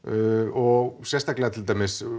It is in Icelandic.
og sérstaklega til dæmis